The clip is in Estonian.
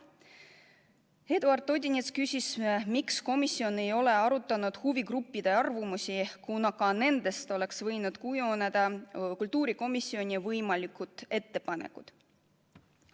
Eduard Odinets küsis, miks komisjon ei ole arutanud huvigruppide arvamusi, kuna ka nendest oleks võinud kujuneda kultuurikomisjoni võimalikud ettepanekud.